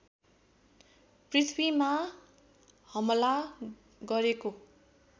पृथ्वीमा हमला गरेको